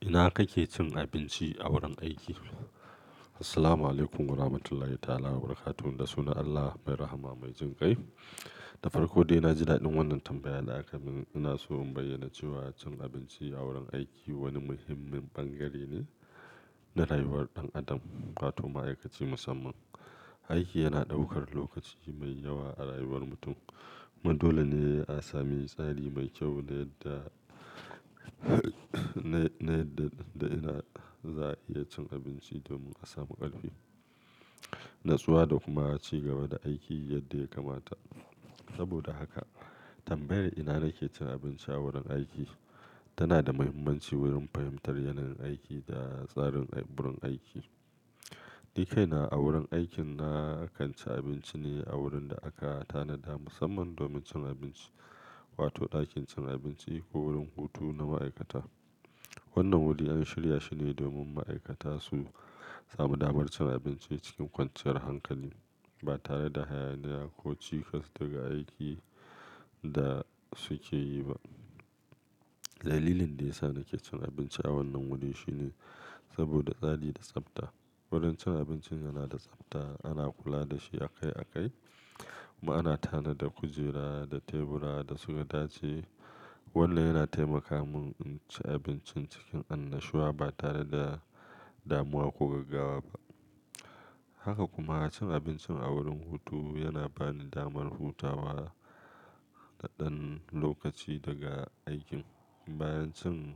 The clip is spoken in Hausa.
Ina kake cin abinci a wurin aiki? Assalamualaikum warahmatullahi ta'ala wabarakatuh. Da sunan Allah mai rahama mai jin ƙai. Da farko dai, na ji daɗin wannan tambaya da aka mun. Ina so in bayyana cewa cin abinci a wurin aiki wani muhimmin bangare ne na rayuwar ɗan adam, wato ma'aikaci musamman. Aiki yana ɗaukar lokaci mai yawa a rayuwar mutum. Mu dole ne a sami tsari mai kyau na yadda na, na yadda da ina za a iya cin abinci domin a samu ƙarfi, natsuwa da kuma a ci gaba da aiki yadda ya kamata. Saboda haka tambayar "ina nake cin abinci a wurin aiki?" tana da muhimmanci wurin fahimtar yanayin aiki da tsarin burin aiki. Nikaina a wurin aikin na kan ci abinci ne a wurin da aka tanada musamman domin cin abinci, wato ɗakin cin abinci ko wurin hutu na ma'aikata. Wannan wuri an shirya shi ne domin ma'aikata su samu damar cin abinci cikin kwanciyar hankali ba tare da hayaniya ko cikas daga aikin da suke yi ba. Dalilin da ya sa nake cin abinci a wannan wuri shine saboda tsari da tsabta. Wurin cin abinci yana da tsabta, ana kula da shi a kai a kai. Mu ana tanada kujera da tebura da su ka dace. Wannan yana taimaka mun in ci abinci cikin annashuwa ba tare da damuwa ko gaggawa ba. Haka kuma, cin abinci a wurin hutu yana bani damar hutawa na ɗan lokaci daga aikin. Bayan cin--